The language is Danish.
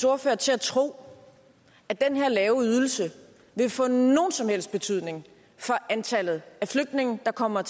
ordfører til at tro at den her lave ydelse vil få nogen som helst betydning for antallet af flygtninge der kommer